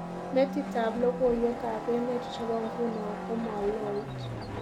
Metitab logoywekab emet chebo nguno komaloit